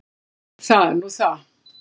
Það er nú það.